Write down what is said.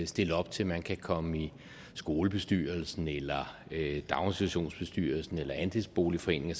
stille op til man kan komme i skolebestyrelsen eller daginstitutionsbestyrelsen eller andelsboligforeningen